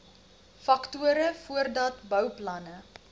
faktore voordat bouplanne